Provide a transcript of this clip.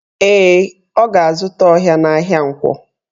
Ee, o ga-azụta ọha n'ahịa Nkwọ